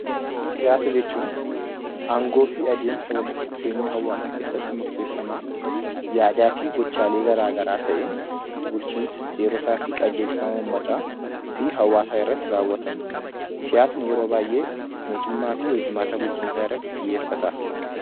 Siyaasa jechuun aangoo fi walitti dhufeenya hawwaasa keessatti murteeffamaa, yaadaa fi gochaalee garaagaraa ta'ee, bulchiinsa, seerotaa fi qajeelfama uummata fi hawwaasaa irratti raawwatamu . Siyaasni yeroo baay'ee mootummaa fi hoji-maata irratti xiyyeeffata.